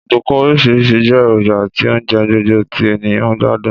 Ọ̀dùnkún orísìrísi je èròjà ti ounje gbogbo ti èyàn n gbádùn.